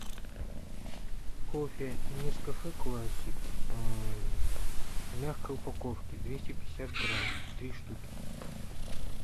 кофе нескафе классик в мягкой упаковке двести пятьдесят грамм три штуки